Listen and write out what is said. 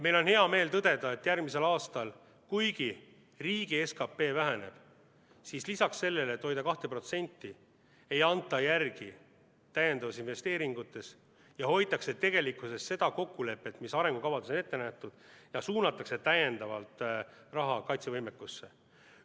Meil on hea meel tõdeda, et järgmisel aastal, kuigi riigi SKP väheneb, siis peale selle, et hoitakse seda 2%, ei anta järele lisainvesteeringutes, hoitakse seda kokkulepet, mis arengukavades on ette nähtud, ja suunatakse täiendavalt raha kaitsevõimekusse.